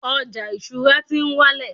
ọja isura ti n wálẹ̀